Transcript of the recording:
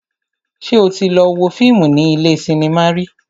Ṣé o tí lọ wo fíìmù ní ilé cinema rí?